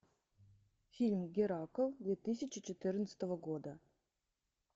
фильм геракл две тысячи четырнадцатого года